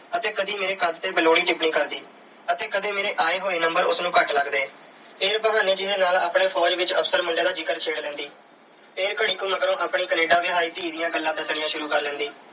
ਅਤੇ ਕਦੀ ਮੇਰੇ ਕੱਦ ਤੇ ਬੇਲੋੜੀ ਟਿੱਪਣੀ ਕਰਦੀ ਅਤੇ ਕਦੇ ਮੇਰੇ ਆਏ ਹੋਏ number ਉਸ ਨੂੰ ਘੱਟ ਲੱਗਦੇ। ਫਿਰ ਬਹਾਨੇ ਜੇ ਨਾਲ ਆਪਣੇ ਫ਼ੌਜ ਵਿੱਚ officer ਮੁੰਡੇ ਦਾ ਜ਼ਿਕਰ ਛੇੜ ਲੈਂਦੀ। ਫਿਰ ਘੜੀ ਕੁ ਮਗਰੋਂ ਆਪਣੀ Canada ਵਿਆਹੀ ਧੀ ਦੀਆਂ ਗੱਲਾਂ ਦੱਸਣੀਆਂ ਸ਼ੁਰੂ ਕਰ ਲੈਂਦੀ।